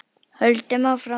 Höldum áfram.